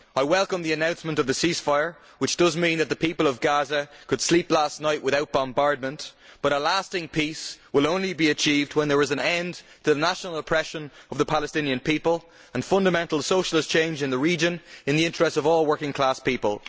I welcome the announcement of the ceasefire, which does mean that the people of Gaza could sleep last night without bombardment, but a lasting peace will only be achieved when there is an end to the national oppression of the Palestinian people and fundamental socialist change in the region in the interests of all working class people.